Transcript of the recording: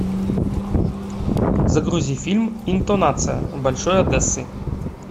загрузи фильм интонация большой одессы